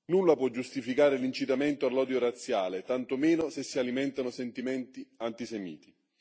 Nulla può giustificare l'incitamento all'odio razziale, tantomeno se si alimentano sentimenti antisemiti.